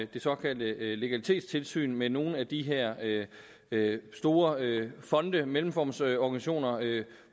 det såkaldte legalitetstilsyn med nogle af de her store fonde mellemformsorganisationer